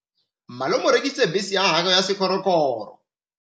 Malome o rekisitse bese ya gagwe ya sekgorokgoro.